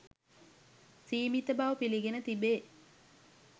සීමිත බව පිළිගෙන තිබේ.